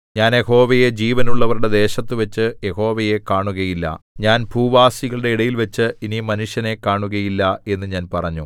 ഞാൻ യഹോവയെ ജീവനുള്ളവരുടെ ദേശത്തുവച്ചു യഹോവയെ കാണുകയില്ല ഞാൻ ഭൂവാസികളുടെ ഇടയിൽവച്ച് ഇനി മനുഷ്യനെ കാണുകയില്ല എന്നു ഞാൻ പറഞ്ഞു